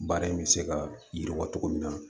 Baara in bɛ se ka yiriwa cogo min na